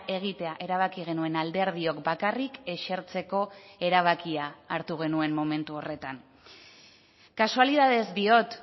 egitea erabaki genuen alderdiok bakarrik esertzeko erabakia hartu genuen momentu horretan kasualitatez diot